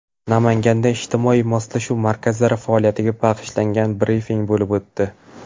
Namanganda ijtimoiy moslashuv markazlari faoliyatiga bag‘ishlangan brifing bo‘lib o‘tdi.